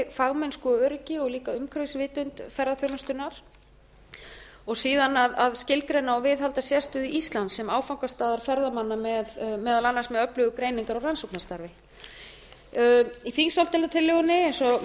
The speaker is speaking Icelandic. fagmennsku af öryggi og líka umhverfisvitund ferðaþjónustunnar áðan að skilgreina og viðhalda sérstöðu íslands sem áfangastaðar ferðamanna meðal annars með öflugu greiningar og rannsóknarstarfi í þingsályktunartillögunni eins